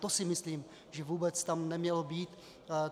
To si myslím, že vůbec tam nemělo být.